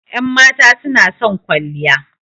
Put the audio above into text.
Ƴan mata suna son kwalliya